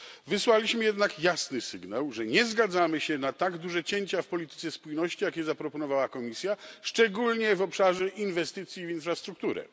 Wysłaliśmy jednak jasny sygnał, że nie zgadzamy się na tak duże cięcia w polityce spójności, jakie zaproponowała Komisja, szczególnie w obszarze inwestycji w infrastrukturę.